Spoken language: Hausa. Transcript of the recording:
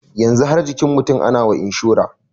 Yanzu har jikin mutum ana wa inshura.